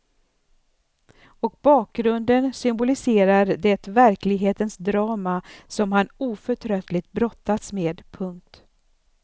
Och bakgrunden symboliserar det verklighetens drama som han oförtröttligt brottas med. punkt